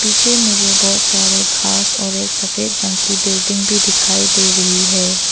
पीछे मुझे बहुत सारे घास और एक सफेद रंग की बिल्डिंग भी दिखाई दे रही है।